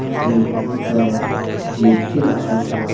इसमें बहोत सारा मूर्ति रखा हुआ है।